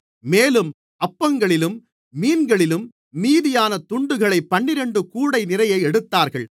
மேலும் அப்பங்களிலும் மீன்களிலும் மீதியான துண்டுகளைப் பன்னிரண்டு கூடை நிறைய எடுத்தார்கள்